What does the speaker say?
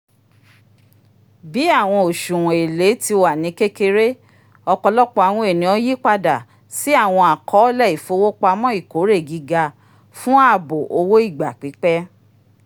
bi awọn oṣuwọn èlé ti wa ni kékeré ọpọlọpọ awọn ènìyàn yípadà si awọn akọọlẹ ifowopamọ ìkórè gíga fún ààbò owó ìgbà pípẹ́